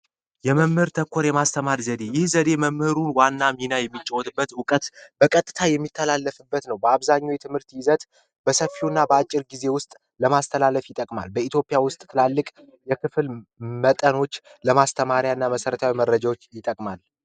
የመምህር ተኮር የማስተማር ዘዴ መምህሩ ዋና ሚና እውቀት በቀጥታ የሚተላለፍበት ነው በአብዛኛው የትምህርት ይዘት በሰፊው እና በአጭር ጊዜ ውስጥ ለማስተላለፍ ይጠቅማል በኢትዮጵያ ውስጥ ትላልቅ የክፍል መጠኖች ለማስተማሪያና መሰረታዊ መረጃዎች ይጠቅማል